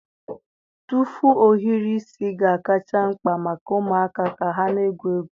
Tụfu ohiri isi ga-akacha mkpa maka ụmụaka ka ha na-egwu egwu.